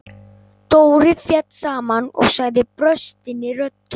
Dóri féll saman og sagði brostinni röddu: